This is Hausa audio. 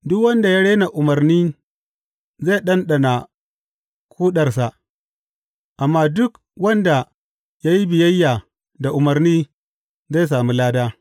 Duk wanda ya rena umarni zai ɗanɗana ƙodarsa, amma duk wanda ya yi biyayya da umarni zai sami lada.